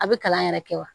A bɛ kalan yɛrɛ kɛ wa